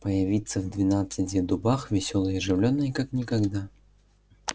появиться в двенадцати дубах весёлой и оживлённой как никогда